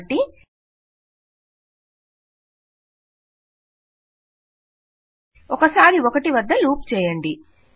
కాబట్టి ఒకసారి 1 వద్ద లూప్ చేయండి